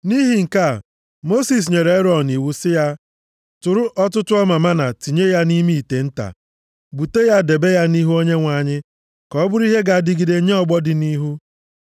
Nʼihi nke a, Mosis nyere Erọn iwu sị ya, “Tụrụ ọtụtụ ọmaa mánà tinye ya nʼime ite nta. Bute ya debe ya nʼihu Onyenwe anyị, ka ọ bụrụ ihe ga-adịgide nye ọgbọ dị nʼihu.”